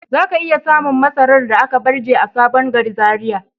Zaka iya samun masarar da aka barje a sabon gari Zaria.